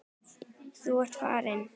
Þú ert farin.